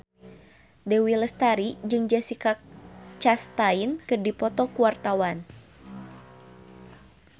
Dewi Lestari jeung Jessica Chastain keur dipoto ku wartawan